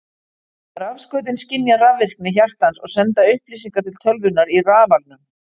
Rafskautin skynja rafvirkni hjartans og senda upplýsingar til tölvunnar í rafalnum.